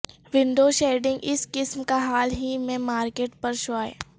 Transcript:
window shedding اس قسم کا حال ہی میں مارکیٹ پر شائع